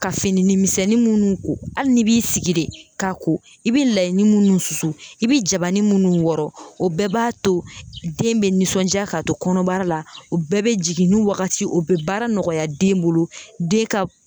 Ka fininin misɛnnin minnu ko hali n'i b'i sigi de k'a ko i bɛ layinin minnu susu i bɛ jabanin minnu wɔrɔ o bɛɛ b'a to den bɛ nisɔndiya k'a to kɔnɔbara la o bɛɛ bɛ jiginni wagati ye o bɛ baara nɔgɔya den bolo den ka